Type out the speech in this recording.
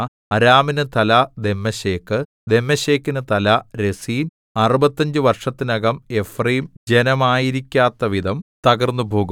അരാമിനു തല ദമ്മേശെക് ദമ്മേശെക്കിനു തല രെസീൻ അറുപത്തഞ്ചു വർഷത്തിനകം എഫ്രയീം ജനമായിരിക്കാത്തവിധം തകർന്നുപോകും